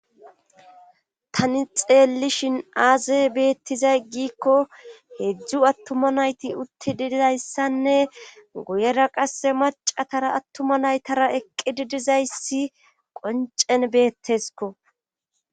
Tani xeellishin aaze beettizay giikko heedzdzu attuma nayti uttidizayssanne guyera qasse macatara attuma naytara eqqi didizayssi qoncen beettesko.